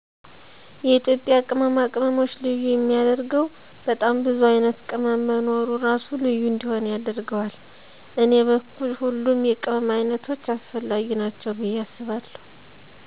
የኢትዩጵያ ቅመማ ቅመሞች ልዬ የሚየደረገወ በጣም ቡዙ አይነት ቅመም መኖሩ እራሱ ልዩ እንዲሆን ያደረገዋል። እኔ በኩል ሁሉም የቅመም አይነቶች አሰፈለጊ ናቸዉ ብየ አስባለሁ